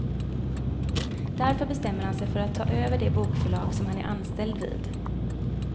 Därför bestämmer han sig för att ta över det bokförlag som han är anställd vid.